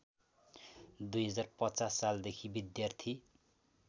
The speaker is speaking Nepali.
२०५० सालदेखि विद्यार्थी